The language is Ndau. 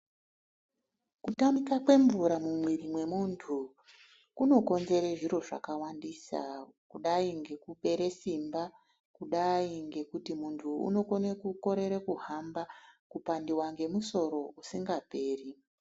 Kutamika kwemvura mumwiri mwemuntu, kunokonzere zviro zvakawandisa, kudai ngekupere simba, kudai ngekuti muntu unokone kukorere kuhamba, kupandiwa ngemusoro usingaperi.